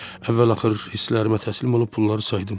Əvvəl-axır hisslərimə təslim olub pulları saydım.